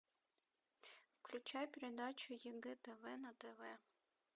включай передачу егэ тв на тв